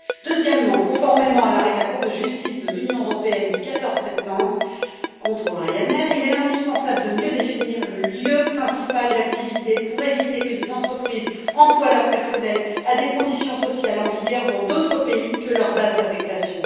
Par ailleurs, conformément à l'arrêt de la Cour de justice de l'Union européenne du 14 septembre contre Ryanair, il est indispensable de mieux définir le lieu principal d'activité pour éviter que des entreprises emploient leur personnel à des conditions sociales en vigueur dans d'autres pays que leur base d'affectation.